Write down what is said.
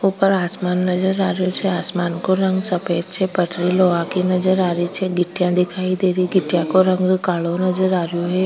ऊपर आसमान नजर आरो छे आसमान को रंग सफेद छे पटरी लोहा की नजर आरी छे गिट्टियां दिखाई देरी गिट्टियां को रंग कालो नज़र आरो है।